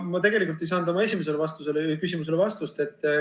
Ma tegelikult ei saanud oma esimesele küsimusele vastust.